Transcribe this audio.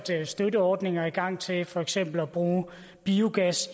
sat støtteordninger i gang til for eksempel i at bruge biogas